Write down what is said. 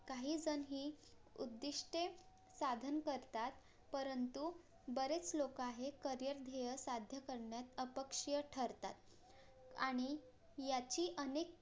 काहीजण ही उद्दिष्टे साधन करतात परंतु बरेच लोक आहेत CAREER ध्येय साध्य करण्यात अपक्षीय ठरतात आणि याची अनेक